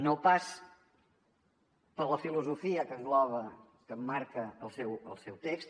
no pas per la filosofia que engloba que emmarca el seu text